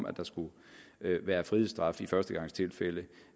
at der skulle være frihedsstraf i førstegangstilfælde